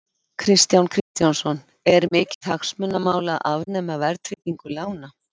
Kristján Kristjánsson: Er mikið hagsmunamál að afnema verðtryggingu lána?